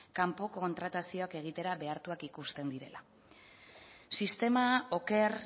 kanpo kontratazioak egitera behartuak ikusten direla sistema oker